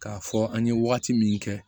K'a fɔ an ye wagati min kɛ